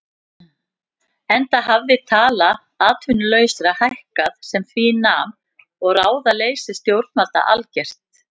Enda hafði tala atvinnulausra hækkað sem því nam og ráðaleysi stjórnvalda algert.